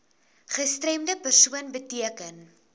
gestremde persoon beteken